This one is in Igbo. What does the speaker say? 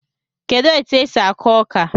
Kedụ etu e si akụ ọka?